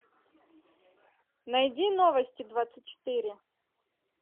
найди новости двадцать четыре